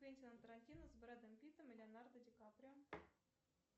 квентина тарантино с брэдом питтом и леонардо ди каприо